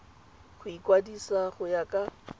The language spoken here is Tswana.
go ikwadisa go ya ka